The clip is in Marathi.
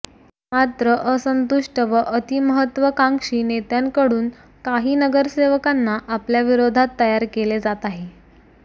मात्र असंतुष्ट व अतिमहत्त्वाकांक्षी नेत्यांकडून काही नगरसेवकांना आपल्या विरोधात तयार केले जात आहे